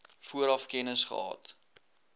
vooraf kennis gehad